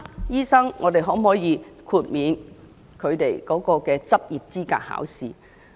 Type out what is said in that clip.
因此，我們可否豁免這群醫生的執業資格考試？